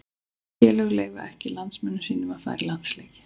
Félögin leyfa ekki landsliðsmönnum sínum að fara í landsleiki.